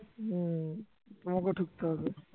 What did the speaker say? উম তোমাকেও ঠুকতে হবে